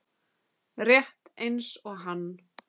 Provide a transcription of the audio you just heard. Rétt eins og hann.